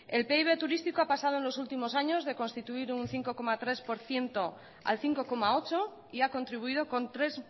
el pib turístico ha pasado en los últimos años de constituir un cinco coma tres por ciento al cinco coma ocho y ha contribuido con tres